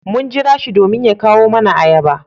Mun jira shi domin ya kawo nama ayaba.